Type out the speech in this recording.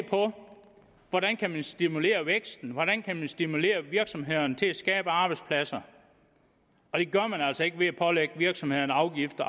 på hvordan man kan stimulere væksten hvordan man kan stimulere virksomhederne til at skabe arbejdspladser og det gør man altså ikke ved at pålægge virksomhederne afgift